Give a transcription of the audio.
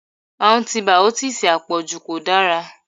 Antibìọ́tììsì àpọ̀jù kò dára.